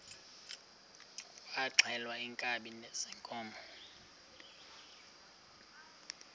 kwaxhelwa iinkabi zeenkomo